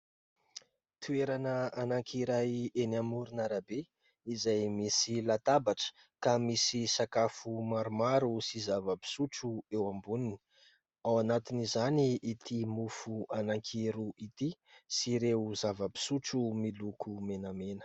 Toerana anankiray eny amoron'arabe izay misy latabatra ka misy sakafo maromaro sy zava-pisotro eo amboniny, ao anatiny izany ity mofo anankiroa ity sy ireo zava-pisotro miloko menamena.